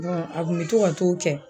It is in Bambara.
a kun mi to ka t'o kɛ